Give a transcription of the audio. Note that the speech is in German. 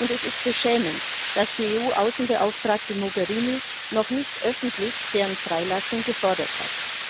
Es ist beschämend, dass die EU Außenbeauftragte Mogherini noch nicht öffentlich deren Freilassung gefordert hat.